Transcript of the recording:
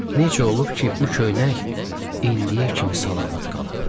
Necə olub ki, bu köynək indiyə kimi salamat qalıb.